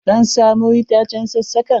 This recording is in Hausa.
Zan samo itacen sassakan.